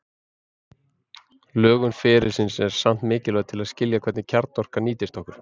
Lögun ferilsins er samt mikilvæg til að skilja hvernig kjarnorka nýtist okkur.